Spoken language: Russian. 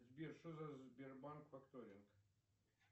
сбер что за сбербанк факторинг